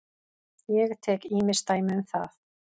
Ég tek ýmis dæmi um það.